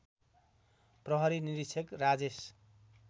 प्रहरी निरीक्षक राजेश